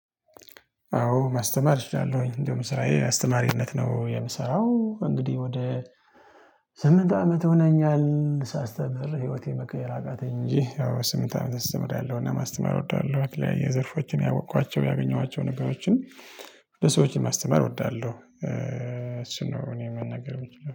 አዎ ማስተማር እችላለሁኝ እንደውም ስራዬ አስተማሪነት ነው የምሰራው። እንግዲህ ወደ ስምንት አመት ሆነኛል ሳስተምር ህይወቴን መቀየር አቃተኝ። እንጂ አዎ ስምንት አመት እስተምርያለሁና ማስተማር እወዳለሁ። የተለያይ ዘርፎችን ያወቅኳቸው ያገኘኋቸው ነገሮችን። ለሰዎች ማስተማር እወዳለሁ እሱን ነው እኔ መናገር ምችለው